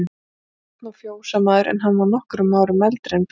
Björn og fjósamaður, en hann var nokkrum árum eldri en Björn.